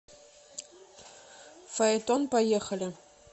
фаэтон поехали